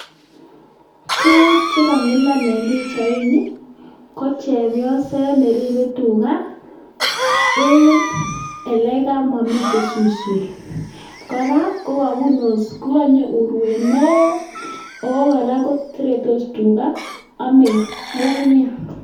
Tuguk che kamilan en pichaini ko chepyoset ne ribe tuga en ele kamomiten suswek. Kora kogabun osnet, koganyo urwet neo! Ago kora ko seretos tuga ame ng'ung'unyek.